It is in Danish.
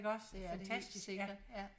Det er det helt sikkert ja